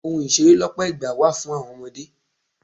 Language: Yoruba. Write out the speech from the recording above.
Ohun ìṣeré lọpọ ìgbà wà fún àwọn ọmọdé.